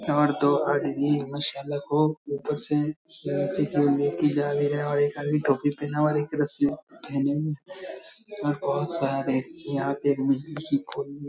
और दो मसाला को ऊपर से रस्सी ले के जा रहे हैं और एक आदमी टोपी पहना हुआ है और एक रस्सी पहने हुए है और बहुत सारे यहाँ पे खोल लिए --